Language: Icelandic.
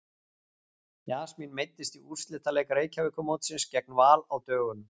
Jasmín meiddist í úrslitaleik Reykjavíkurmótsins gegn Val á dögunum.